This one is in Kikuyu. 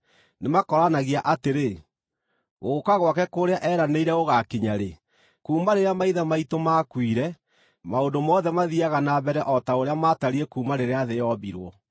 Nĩmakooranagia atĩrĩ, “Gũũka gwake kũrĩa eeranĩire gũgaakinya-rĩ? Kuuma rĩrĩa maithe maitũ maakuire, maũndũ mothe mathiiaga na mbere o ta ũrĩa maatariĩ kuuma rĩrĩa thĩ yombirwo.”